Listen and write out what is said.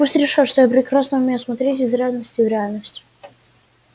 пусть решат что я прекрасно умею смотреть из реальности в реальность